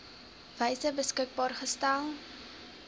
wyse beskikbaar gestel